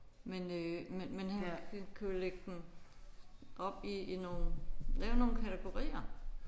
Men øh men han kan jo ligge dem op i i nogle lave nogle kategorier